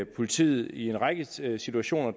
politiet i en række situationer